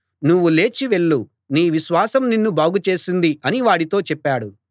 నువ్వు లేచి వెళ్ళు నీ విశ్వాసం నిన్ను బాగు చేసింది అని వాడితో చెప్పాడు